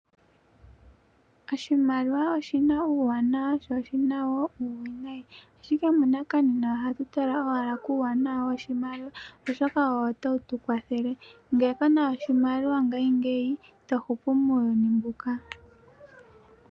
Oshimaliwa oshina uuwanawa sho oshina woo uuwinayi ashike munakanena ohatutala owala kuuwanawa woshimaliwa oshoka owo tawutu kwathele, nge kuna oshimaliwa ngayi ngeyi itohupu muuyuni mbuka.